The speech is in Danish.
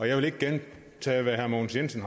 jeg vil ikke gentage hvad herre mogens jensen